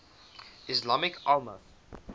ismaili imams